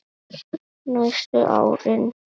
Næstu árin.